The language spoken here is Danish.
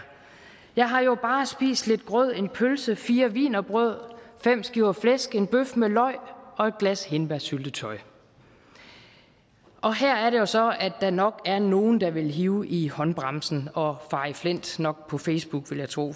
jeg har jo bare spist lidt grød en pølse fire wienerbrød fem skiver flæsk en bøf med løg og et glas hindbærsyltetøj her er det jo så at der nok er nogle der vil hive i håndbremsen og fare i flint nok på facebook vil jeg tro